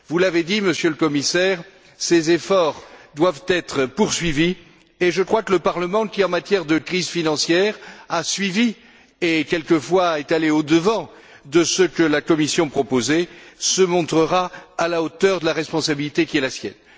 Vous l'avez dit, Monsieur le Commissaire, ces efforts doivent être poursuivis et je crois que le Parlement qui, en matière de crise financière, a suivi et, quelquefois, est allé au devant de ce que la Commission proposait, se montrera à la hauteur de la responsabilité qui est la sienne.